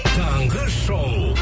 таңғы шоу